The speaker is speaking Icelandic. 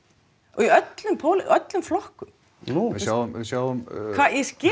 úr öllum öllum flokkum nú við sjáum við sjáum hvað ég skil